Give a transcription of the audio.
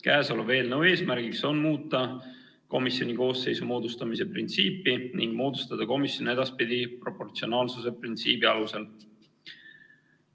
Kõnealuse eelnõu eesmärk on muuta komisjoni koosseisu moodustamise printsiipi ning moodustada komisjon edaspidi proportsionaalsuse printsiibi alusel.